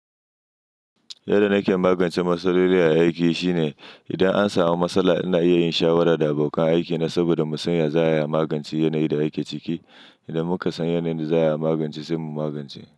Yadda nake magance matsala dai dai a aiki shine idan an samu matsala ina iya yin shawara da abokan aikina saboda mu sanya za a iya magance yanayin da ake ciki. Idan muka san yanayin da za a magance sai mu magance.